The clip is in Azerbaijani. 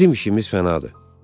Bizim işimiz fənadır.